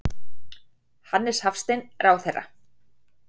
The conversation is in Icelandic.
Hannes Hafstein, ráðherra.